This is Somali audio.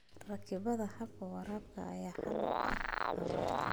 Rakibaadda hababka waraabka ayaa xal u ah abaarta.